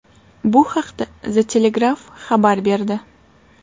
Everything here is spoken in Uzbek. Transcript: Bu haqda The Telegraph xabar berdi .